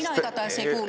Kas teie kuulsite?